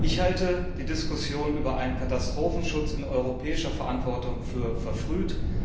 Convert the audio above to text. Ich halte die Diskussion über Katastrophenschutz in europäischer Verantwortung für verfrüht.